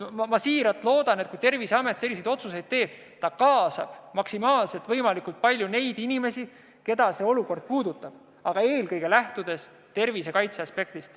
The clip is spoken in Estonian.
Ma siiralt loodan, et kui Terviseamet selliseid otsuseid teeb, kaasab ta võimalikult palju neid inimesi, keda see olukord puudutab, kuid eelkõige tuleb lähtuda tervise kaitse aspektist.